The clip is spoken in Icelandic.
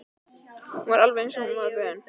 Hún var alveg eins og hún var vön.